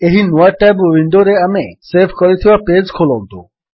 ଏହି ନୂଆ ଟ୍ୟାବ୍ ୱିଣ୍ଡୋରେ ଆମେ ସେଭ୍ କରିଥିବା ପେଜ୍ ଖୋଲନ୍ତୁ